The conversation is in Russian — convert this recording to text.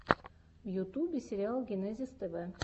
в ютубе сериал генезис тв